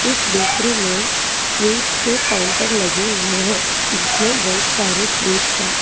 इस दृश्य में स्वीट्स के काउंटर लगे हुए हैं जिसमें बहुत सारे स्वीट्स हैं।